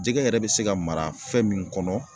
Jɛgɛ yɛrɛ be se ka mara fɛn min kɔnɔ